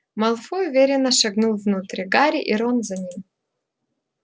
малфой уверенно шагнул внутрь гарри и рон за ним